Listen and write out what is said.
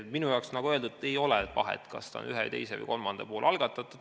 Minu jaoks, nagu öeldud, ei ole vahet, kas see on ühe, teise või kolmanda poole algatatud.